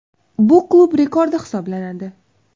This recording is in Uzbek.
Bu klub rekordi hisoblanadi.